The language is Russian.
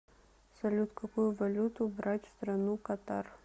салют какую валюту брать в страну катар